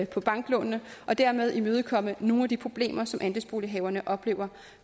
på banklånene og dermed imødekomme nogle af de problemer som andelsbolighaverne oplever